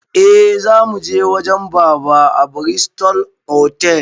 Eh, zamuje wajen baba a bristol otal